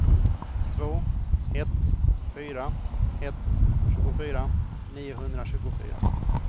två ett fyra ett tjugofyra niohundratjugofyra